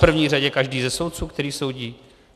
V první řadě každý ze soudců, který soudí?